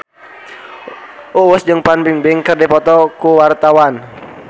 Uus jeung Fan Bingbing keur dipoto ku wartawan